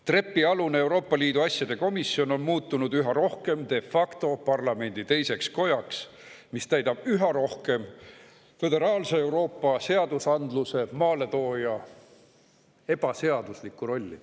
Trepialune Euroopa Liidu asjade komisjon on muutunud üha rohkem de facto parlamendi teiseks kojaks, mis täidab üha rohkem föderaalse Euroopa seadusandluse maaletooja ebaseaduslikku rolli.